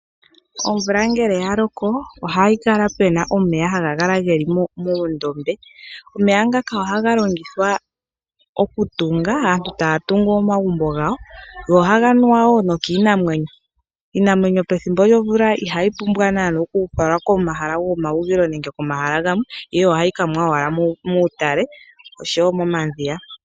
Omvula ngele ya loko ohayi kala puna omeya haga kala geli muundombe, omeya ngaka ohaga longithwa oku tunga aantu taa tungu omagumbo gawo, go ohaga nuwa wo nokiinamwenyo. Iinamwenyo pethimbo lyomvuka ihayi pumbwa nana oku falwa komahala gomahugilo nenge komahala gamwe, ihe ohayi kanwa muutale oshowo momadhiya.